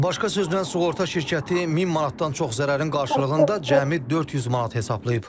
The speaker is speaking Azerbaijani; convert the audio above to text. Başqa sözlə, sığorta şirkəti 1000 manatdan çox zərərin qarşılığında cəmi 400 manat hesablayıb.